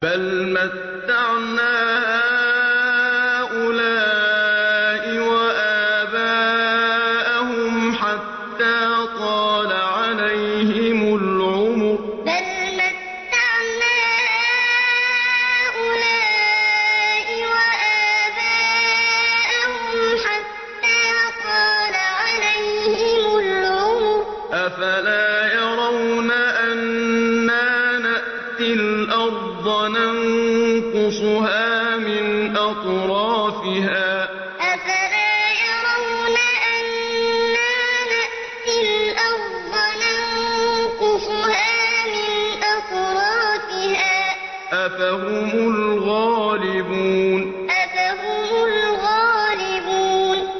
بَلْ مَتَّعْنَا هَٰؤُلَاءِ وَآبَاءَهُمْ حَتَّىٰ طَالَ عَلَيْهِمُ الْعُمُرُ ۗ أَفَلَا يَرَوْنَ أَنَّا نَأْتِي الْأَرْضَ نَنقُصُهَا مِنْ أَطْرَافِهَا ۚ أَفَهُمُ الْغَالِبُونَ بَلْ مَتَّعْنَا هَٰؤُلَاءِ وَآبَاءَهُمْ حَتَّىٰ طَالَ عَلَيْهِمُ الْعُمُرُ ۗ أَفَلَا يَرَوْنَ أَنَّا نَأْتِي الْأَرْضَ نَنقُصُهَا مِنْ أَطْرَافِهَا ۚ أَفَهُمُ الْغَالِبُونَ